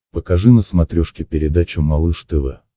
покажи на смотрешке передачу малыш тв